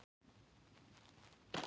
Sennilega er það hetjan aftur á ferð.